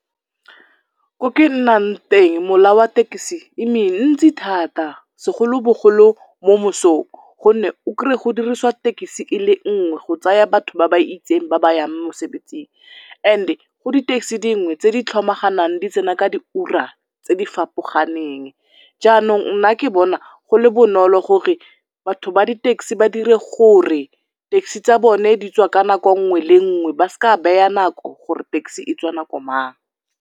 Ko ke nnang teng mola wa tekisi e mentsi thata segoloboglo mo mosong gonne o krey-e go dirisiwa tekisi e le nngwe go tsaya batho ba ba isteng ba ba yang mosebetsing and-e go di-taxi dingwe tse di tlhomaganang di tsena ka diura tse di fapoganeng. Jaanong nna ke bona go le bonolo gore batho ba di-taxi ba dire gore taxi tsa bone di tswa ka nako nngwe le nngwe ba seka beya nako gore taxi e tswa nako mang.